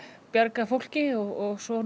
bjarga fólki og svo